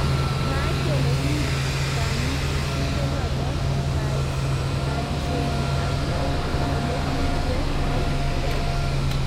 Mwaat kele kiib kanitndenotok kaimsenyi aki olekirpe ng'atuk ab.